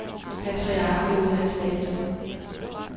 Patriarken lod sig ikke standse.